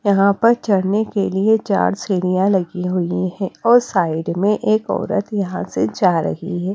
यहां पर चढ़ने के लिए चार सीढ़ीया लगी हुई है और साइड में एक औरत यहां से जा रही है।